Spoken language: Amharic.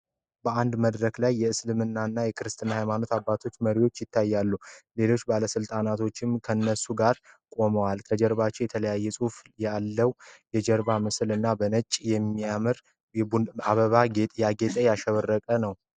በአንድ መድረክ ላይ የእስልምናና የክርስትና ሃይማኖት አባቶችና መሪዎች ይታያሉ። ሌሎች ባለስልጣናቶችም ከነሱ ጋር ቁመዋል ፤ ከጀርባ የተለያዩ ጽሁፍ ያለው የጀርባ ምስል እና በነጭ የሚያምር አበባና ጌጣጌጥ አሸብርቋል።